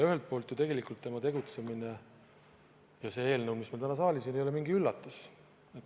Ühelt poolt ei ole ju tema tegutsemine ja see eelnõu, mis meil täna saalis on, mingi üllatus.